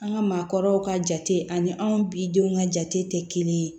An ka maakɔrɔw ka jate ani anw bi denw ka jate tɛ kelen ye